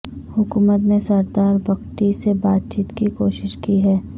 حکومت نے سردار بگٹی سے بات چیت کی کوشش کی ہے